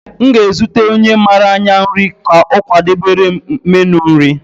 M ga-ezute onye mara anya nri ka ọ kwadebere m meenu nri.